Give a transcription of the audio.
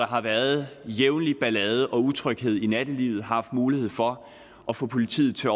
har været ballade og utryghed i nattelivet har haft mulighed for at få politiet til